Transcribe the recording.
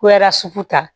Kuyara sugu ta